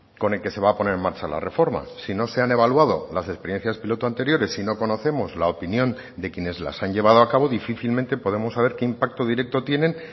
con el que se va a poner en marcha la reforma si no se han evaluado las experiencias piloto anteriores y no conocemos la opinión de quienes las han llevado a cabo difícilmente podemos saber qué impacto directo tienen